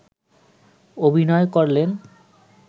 অভিনয় করলেন